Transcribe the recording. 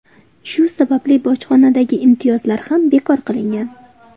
Shu sababli bojxonadagi imtiyozlar ham bekor qilingan.